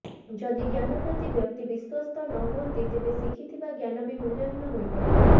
ଯଦି ଜ୍ଞାନ ପ୍ରତି ବ୍ୟକ୍ତି ବିଶ୍ୱସ୍ତ ନ ହୁଅନ୍ତି ତେବେ ଶିଖିଥିବା ଜ୍ଞାନ ବି ମୂଲ୍ୟହୀନ ହୋଇପଡ଼େ